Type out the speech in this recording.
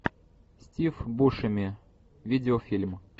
стив бушеми видеофильм